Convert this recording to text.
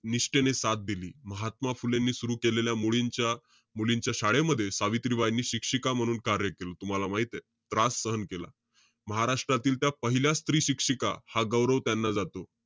निष्ठेने साथ दिली. महात्मा फुलेंनी सुरु केलेल्या मुलींच्या~ मुलींच्या शाळेमध्ये सावित्रीबाईंनी शिक्षिका म्हणून कार्य केलं होतं. तुम्हाला माहितीय. त्रास सहन केला. महाराष्ट्रातील पहिल्या स्त्री शिक्षिका हा गौरव त्यांना जातो.